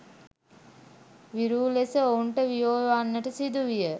විරූ ලෙස ඔවුන්ට වියෝ වන්නට සිදුවිය.